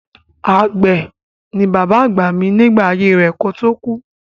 Àgbẹ̀ ni bàbá àgbà mi nígbà ayé rẹ̀ kó tó kú.